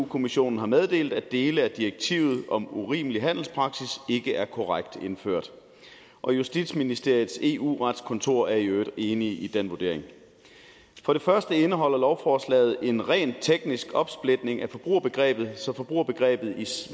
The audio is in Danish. kommissionen har meddelt at dele af direktivet om urimelig handelspraksis ikke er korrekt indført og justitsministeriets eu retskontor er i øvrigt enig i den vurdering for det første indeholder lovforslaget en rent teknisk opsplitning af forbrugerbegrebet så forbrugerbegrebet i